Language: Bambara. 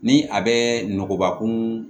Ni a bɛ nɔgɔnbakun